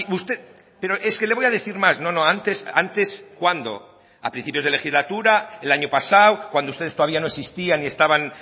usted pero es que le voy a decir más no no antes antes cuándo a principios de legislatura el año pasado cuándo ustedes todavía no existían y estaban